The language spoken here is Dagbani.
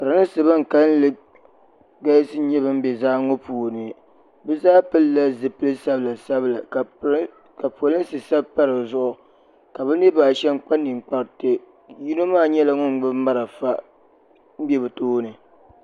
pɛrinsi ban kali galisi n bɛ zaa ŋɔ ni bɛ zaa pɛlila zipɛli sabila sabila ka polinsi sabipa di zuɣ' ka be niribaashɛm kpa nɛkparitɛ yino maa nyɛla ŋɔ gbabi mariƒɔ n bɛ be tuuni